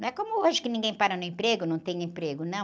Não é como hoje que ninguém para no emprego, não tem emprego, não.